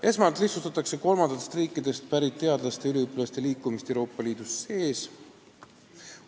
Esmalt lihtsustatakse kolmandatest riikidest pärit teadlaste ja üliõpilaste liikumist Euroopa Liidu sees.